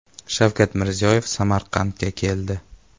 Shavkat Mirziyoyev Samarqandga keldi .